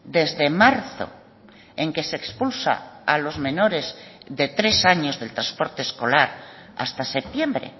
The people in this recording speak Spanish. desde marzo en que se expulsa a los menores de tres años del transporte escolar hasta septiembre